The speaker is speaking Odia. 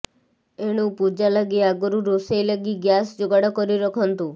ଏଣୁ ପୂଜା ଲାଗି ଆଗରୁ ରୋଷେଇ ଲାଗି ଗ୍ୟାସ ଯୋଗାଡ କରି ରଖନ୍ତୁ